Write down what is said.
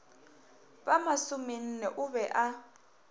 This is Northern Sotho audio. ba masomenne o be a